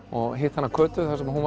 og hitti Kötu þar sem hún